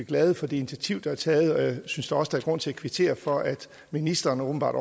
glade for det initiativ der er taget og jeg synes da også der er grund til at kvittere for at ministeren åbenbart